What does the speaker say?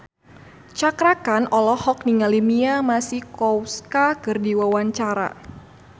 Cakra Khan olohok ningali Mia Masikowska keur diwawancara